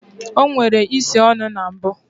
O nwere isi ọnụ na mbụ